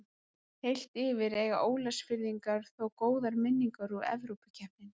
Heilt yfir eiga Ólafsfirðingar þó góðar minningar úr Evrópukeppnunum.